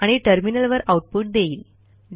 आणि टर्मिनलवर आऊटपुट देईल